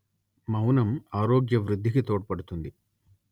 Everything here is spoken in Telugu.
మౌనం ఆరోగ్య వృద్ధికి తోడ్పడుతుంది